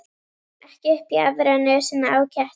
Ekki upp í aðra nösina á ketti.